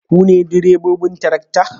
Ku ne direbobin tarakta?